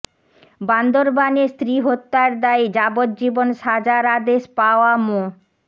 বান্দরবানে স্ত্রী হত্যার দায়ে যাবজ্জীবন সাজার আদেশ পাওয়া মো